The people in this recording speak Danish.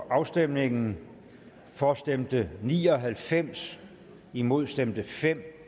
afstemningen for stemte ni og halvfems imod stemte fem